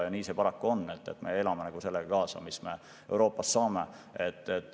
Nii see paraku on, et me peame sellega elama, mis me Euroopast saame.